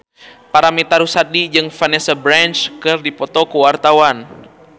Paramitha Rusady jeung Vanessa Branch keur dipoto ku wartawan